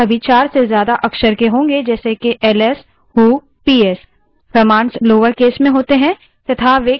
Linux commands शायद ही कभी चार से ज्यादा अक्षर के होंगे जैसे कि ls who psआदि